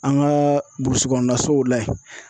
An ka burusi kɔnɔnasow la yen.